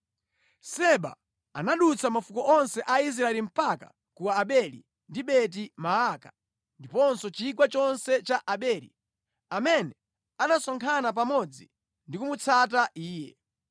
Seba anadutsa mafuko onse a Israeli mpaka ku Abeli ndi Beti-Maaka ndiponso chigawo chonse cha Abeli, amene anasonkhana pamodzi ndi kumutsata iye.